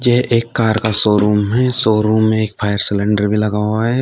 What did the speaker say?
यह एक कार का शो रूम है। शो रूम में एक फायर सिलेंडर भी लगा हुआ है।